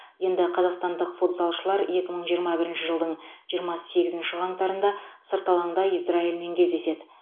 енді қазақстандық футзалшылар екі мың жиырма бірінші жылдың жиырма сегізінші қаңтарында сырт алаңда израильмен кездеседі